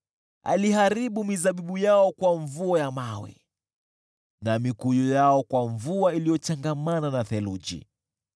Aliharibu mizabibu yao kwa mvua ya mawe na mikuyu yao kwa mvua iliyochangamana na theluji.